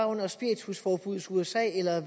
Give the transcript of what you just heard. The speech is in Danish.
under spiritusforbuddet i usa eller